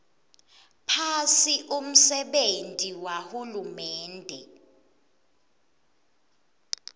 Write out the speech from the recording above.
phasi umsebenti wahulumende